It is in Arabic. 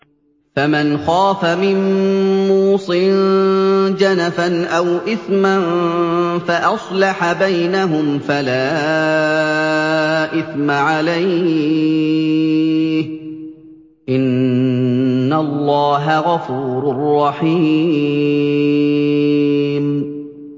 فَمَنْ خَافَ مِن مُّوصٍ جَنَفًا أَوْ إِثْمًا فَأَصْلَحَ بَيْنَهُمْ فَلَا إِثْمَ عَلَيْهِ ۚ إِنَّ اللَّهَ غَفُورٌ رَّحِيمٌ